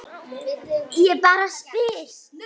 Ég bara spyr.